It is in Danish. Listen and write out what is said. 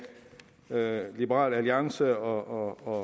med liberal alliance og